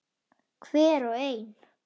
Hver og ein.